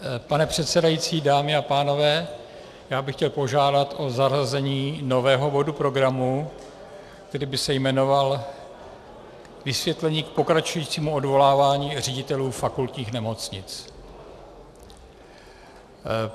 Pane předsedající, dámy a pánové, já bych chtěl požádat o zařazení nového bodu programu, který by se jmenoval Vysvětlení k pokračujícímu odvolávání ředitelů fakultních nemocnic.